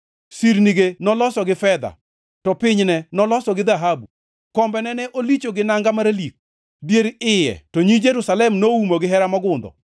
Sirnige noloso gi fedha, to pinyne noloso gi dhahabu, kombene ne olicho gi nanga maralik, dier iye to nyi Jerusalem noumo gihera mogundho.